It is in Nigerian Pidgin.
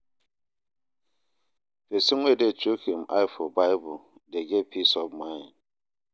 Pesin wey dey chook im eye for bible dey get peace of mind.